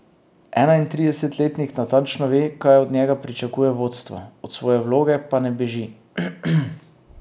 Enaintridesetletnik natančno ve, kaj od njega pričakuje vodstvo, od svoje vloge pa ne beži.